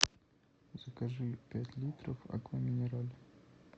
закажи пять литров аква минерале